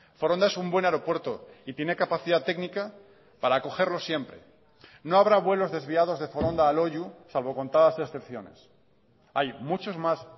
foronda es un buen aeropuerto y tiene capacidad técnica para acogerlo siempre no habrá vuelos desviados de foronda a loiu salvo contadas excepciones hay muchos más